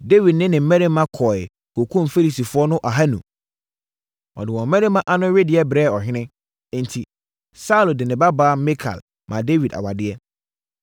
Dawid ne ne mmarima kɔeɛ kɔkumm Filistifoɔ no ahanu. Ɔde wɔn mmarima ano wedeɛ brɛɛ ɔhene. Enti, Saulo de ne babaa Mikal maa Dawid awadeɛ.